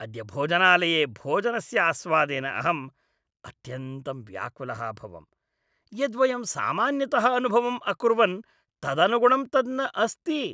अद्य भोजनालये भोजनस्य आस्वादेन अहम् अत्यन्तं व्याकुलः अभवम्। यद् वयं सामान्यतः अनुभवम् अकुर्वन् तदनुगुणं तद् न अस्ति।